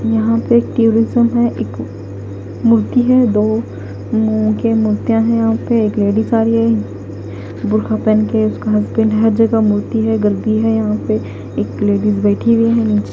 यहां पे टूरिज्म है एक मूर्ति है दो मु के मूर्तियां हैं यहां पे एक लेडिस आ रही है बुरखा पहेन के उसका हस्बैंड हर जगह मूर्ति है गलती है यहां पे एक लेडिस बैठी हुई है।